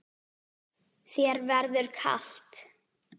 Þér verður kalt